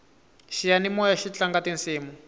xiyanimoyaxi tlanga tisimu